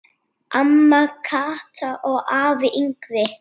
Amma Kata og afi Yngvi.